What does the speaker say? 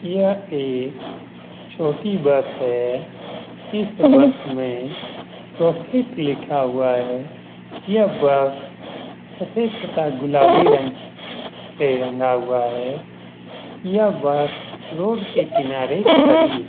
यह एक छोटी बस है। इस बस में प्रॉफिट लिखा हुआ है। यह बस सफेद तथा गुलाबी रंग से रंगा हुआ है। यह बस रोड के किनारे खड़ी है।